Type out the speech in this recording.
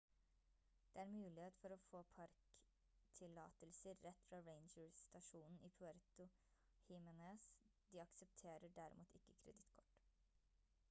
det er muligheter for å få parktillatelser rett fra ranger-stasjonen i puerto jiménez de aksepterer derimot ikke kredittkort